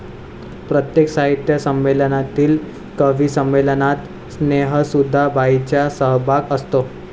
प्रत्येक साहित्य संमेलनातील कविसंमेलनात स्नेहसुधा बाईंचा सहभाग असतो